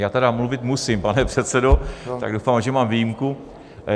Já tedy mluvit musím, pane předsedo, tak doufám, že mám výjimku.